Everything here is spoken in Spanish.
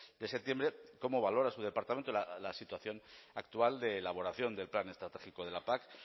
de septiembre cómo valora su departamento la situación actual de elaboración del plan estratégico de la pac